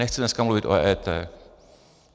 Nechci dneska mluvit o EET.